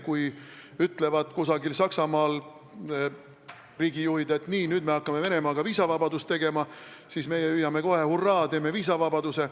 Kui Saksamaal riigijuhid ütlevad, et nüüd me hakkame Venemaaga viisavabadust tegema, siis meie hüüame kohe, et jah, hurraa, teeme viisavabaduse.